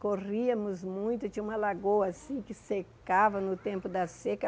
Corríamos muito, tinha uma lagoa assim que secava no tempo da seca.